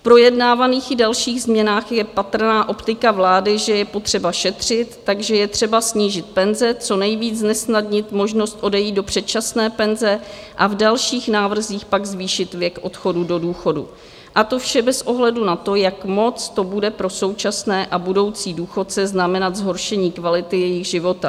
V projednávaných i dalších změnách je patrná optika vlády, že je potřeba šetřit, takže je třeba snížit penze, co nejvíc znesnadnit možnost odejít do předčasné penze a v dalších návrzích pak zvýšit věk odchodu do důchodu, a to vše bez ohledu na to, jak moc to bude pro současné a budoucí důchodce znamenat zhoršení kvality jejich života.